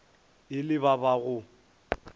e le ba ba go